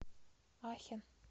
ахен